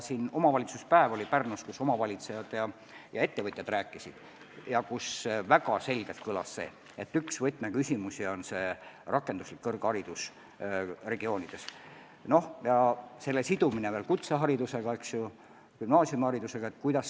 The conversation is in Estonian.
Pärnus korraldati omavalitsuspäev, kus omavalitsejad ja ettevõtjad sõna võtsid ja kus väga selgelt kõlas seisukoht, et üks võtmeküsimus on rakenduslik kõrgharidus regioonides ja selle sidumine kutse- ja gümnaasiumiharidusega.